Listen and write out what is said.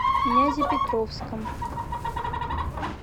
нязепетровском